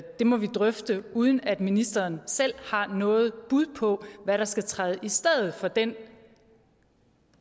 det må vi drøfte uden at ministeren selv har noget bud på hvad der skal træde i stedet for den